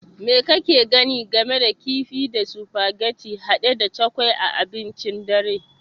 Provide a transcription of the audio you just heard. Me kake gani game da kifi da sufageti hade da cukwui a abincin dare?